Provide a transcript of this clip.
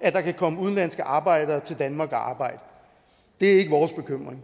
at der kan komme udenlandske arbejdere til danmark og arbejde det er ikke vores bekymring